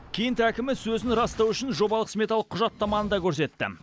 кент әкімі сөзін растау үшін жобалық сметалық құжаттаманы да көрсетті